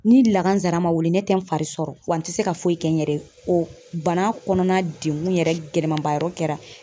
Ni lakanzara ma weele ne tɛ n fari sɔrɔ wa n ti se ka foyi kɛ n yɛrɛ ye. O bana kɔnɔna degun yɛrɛ gɛlɛmanba yɔrɔ kɛra